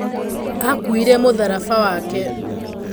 Akuire mũtharaba wake.